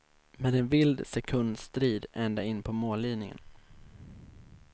Med en vild sekundstrid ända in på mållinjen.